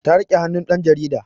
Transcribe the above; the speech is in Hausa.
Ta rike hannun ɗan jarida